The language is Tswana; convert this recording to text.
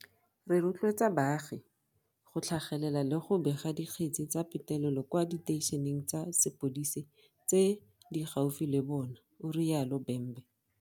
Re rotloetsa baagi go tlhagelela le go bega dikgetse tsa petelelo kwa diteišeneng tsa sepodise tse di gaufi le bona, o rialo Bhembe.